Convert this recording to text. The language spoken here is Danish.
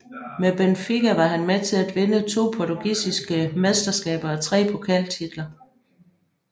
Med Benfica var han med til at vinde to portugisiske mesteskaber og tre pokaltitler